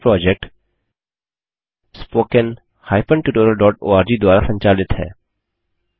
यह project httpspoken tutorialorg द्वारा संचालित है